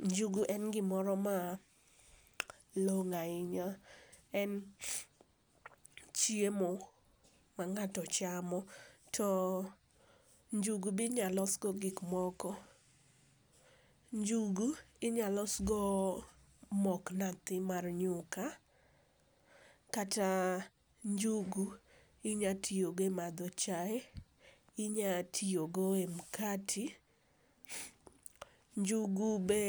Njugu en gimoro malong'o ahinya, en chiemo ma ng'ato chamo to njugu be inyalo losgo gik moko. Njugu inyalo losgo mok nathi mar nyuka, kata njugu inyalo tiyo go e madho chae, inyalo tiyo go e mkate. Njugu be,